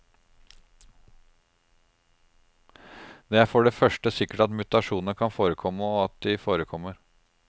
Det er for det første sikkert at mutasjoner kan forekomme, og at de forekommer.